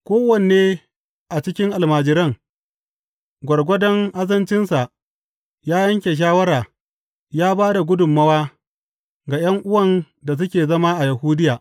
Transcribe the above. Kowanne a cikin almajiran, gwargwadon azancinsa, ya yanke shawara ya ba da gudummawa ga ’yan’uwan da suke zama a Yahudiya.